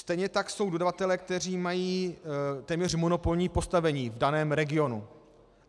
Stejně tak jsou dodavatelé, kteří mají téměř monopolní postavení v daném regionu.